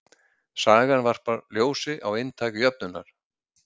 Sagan varpar ljósi á inntak jöfnunnar.